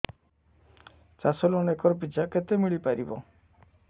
ଚାଷ loan acre ପିଛା କେତେ ମିଳି ପାରିବ